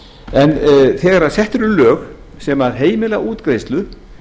en þegar sett eru lög sem heimila útgreiðslu